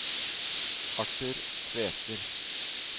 Arthur Tveter